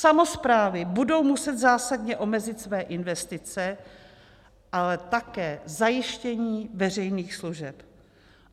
Samosprávy budou muset zásadně omezit své investice, ale také zajištění veřejných služeb.